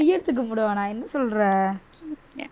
கையெடுத்து கும்பிடுவானா என்ன சொல்ற